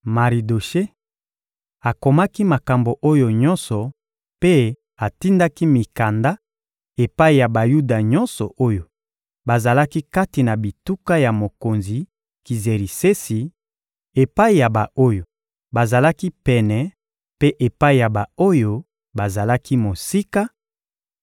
Maridoshe akomaki makambo oyo nyonso mpe atindaki mikanda epai ya Bayuda nyonso oyo bazalaki kati na bituka ya mokonzi Kizerisesi, epai ya ba-oyo bazalaki pene mpe epai ya ba-oyo bazalaki mosika